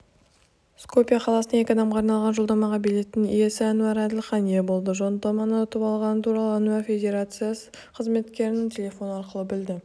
скопье қаласына екі адамға арналған жолдамаға билеттің иесіануар әділхан ие болды жолдаманы ұтып алғаны туралы ануар федерация қызметкерлерінен телефон арқылы білді